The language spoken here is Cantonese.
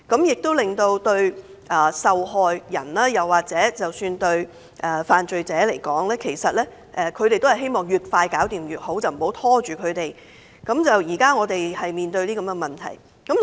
事實上，對受害人或犯罪者而言，他們也希望案件越快解決越好，不希望拖延，這是我們現正面對的問題。